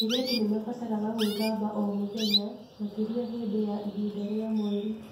Airĩtu nĩ mabataraga gwĩthamba o mũthenya, makĩria hĩndĩ ya ihinda rĩa mweri.